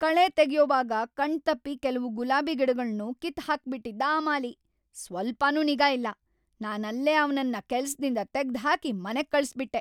ಕಳೆ ತೆಗ್ಯೋವಾಗ ಕಣ್ತಪ್ಪಿ ಕೆಲ್ವು ಗುಲಾಬಿ ಗಿಡಗಳ್ನೂ ಕಿತ್ತ್ ಹಾಕ್ಬಿಟಿದ್ದ ಆ ಮಾಲಿ, ಸ್ವಲ್ಪನೂ ನಿಗಾ ಇಲ್ಲ.. ನಾನಲ್ಲೇ ಅವ್ನನ್ನ ಕೆಲ್ಸ್‌ದಿಂದ ತೆಗ್ದ್‌ಹಾಕಿ ಮನೆಗ್‌ ಕಳ್ಸ್‌ಬಿಟ್ಟೆ.